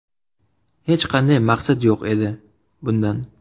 Hech qanday maqsad yo‘q edi bundan.